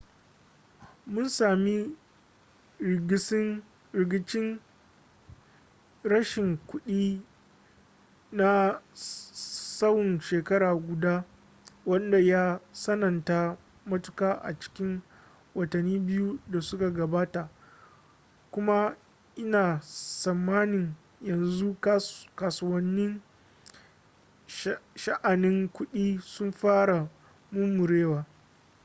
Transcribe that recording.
mun sami rigicin rashin kuɗi na tsawon shekara guda wanda ya tsananta matuka a cikin watanni biyu da suka gabata kuma ina tsammanin yanzu kasuwannin sha'anin kuɗi sun fara murmurewa